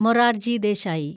Morarji Desai